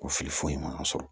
Ko fili foyi ma sɔrɔ